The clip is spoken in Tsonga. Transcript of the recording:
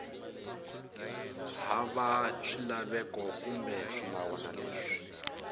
hava swilaveko kumbe swinawana leswi